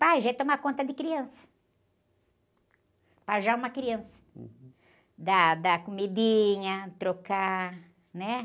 Pajem é tomar conta de criança pajar uma criança dar, dar comidinha trocar, né?